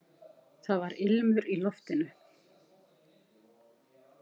Það var ilmur í loftinu!